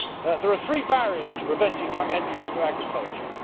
There are three barriers to preventing young entrants to agriculture.